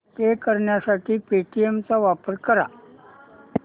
पे करण्यासाठी पेटीएम चा वापर कर